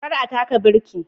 Kar a taka birki